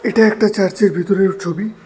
এটা একটা চার্চের ভিতরের ছবি।